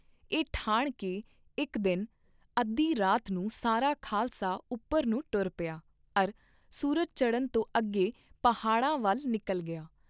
ਇਹ ਠਾਣ ਕੇ ਇਕ ਦਿਨ ਅੱਧੀ ਰਾਤ ਨੂੰ ਸਾਰਾ ਖਾਲਸਾ ਉਪਰ ਨੂੰ ਟੁਰ ਪਿਆ ਅਰ ਸੂਰਜ ਚੜ੍ਹਨ ਤੋਂ ਅੱਗੇ ਪਹਾੜਾਂ ਵੱਲ ਨਿਕਲ ਗਿਆ।